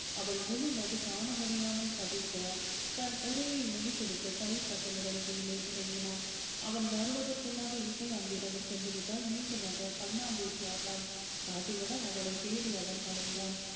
அவள் முழுமதி காண முடியாமல் தவிக்க தன் உரையை முடித்துவிட்டு கைதட்டலுடன் கீழே இறங்கினான் அவன் வருவதற்குள்ளாக இசைய அங்கிருந்து சென்று விட்டாள் மீண்டும் ஆக கண்ணாமூச்சி ஆட்டம் காட்டி விட அவளை தேடி அவன் அலைந்தான்